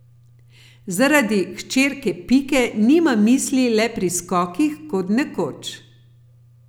Zaradi hčerke Pike nima misli le pri skokih kot nekoč.